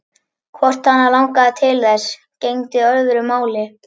Hvort hana langaði til þess, gegndi öðru máli.